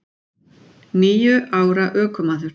Níu ára ökumaður